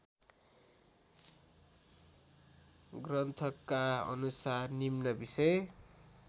ग्रन्थका अनुसार निम्न बिषय